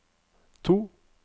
to